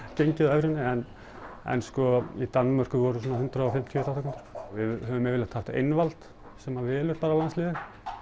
gengið á evrunni en í Danmörku voru svona hundrað og fimmtíu þátttakendur við höfum yfirleitt haft einvald sem velur bara landsliðið